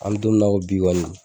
An mɛ don min na ko bi kɔni